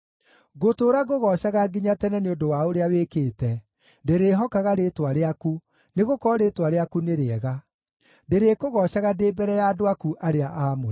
Ngũtũũra ngũgoocaga nginya tene nĩ ũndũ wa ũrĩa wĩkĩte; ndĩrĩĩhokaga rĩĩtwa rĩaku, nĩgũkorwo rĩĩtwa rĩaku nĩ rĩega. Ndĩrĩkũgoocaga ndĩ mbere ya andũ aku arĩa aamũre.